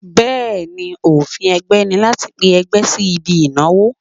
Bẹ́ẹ̀ni, òfin ẹgbẹ́ ni láti pe ẹgbẹ́ sí ibi ìnáwó.